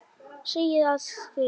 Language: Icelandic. Segi og skrifa það.